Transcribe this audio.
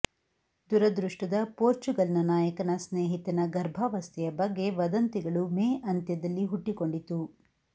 ದುರದೃಷ್ಟದ ಪೋರ್ಚುಗಲ್ನ ನಾಯಕನ ಸ್ನೇಹಿತನ ಗರ್ಭಾವಸ್ಥೆಯ ಬಗ್ಗೆ ವದಂತಿಗಳು ಮೇ ಅಂತ್ಯದಲ್ಲಿ ಹುಟ್ಟಿಕೊಂಡಿತು